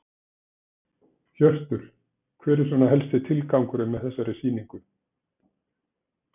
Hjörtur: Hver er svona helsti tilgangurinn með þessari sýningu?